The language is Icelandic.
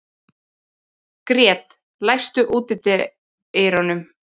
Grét, læstu útidyrunum.